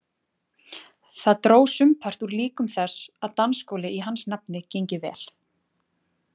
Það dró sumpart úr líkum þess að dansskóli í hans nafni gengi vel.